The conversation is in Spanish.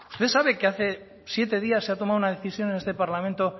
usted sabe qué hace siete días se ha tomado una decisión en este parlamento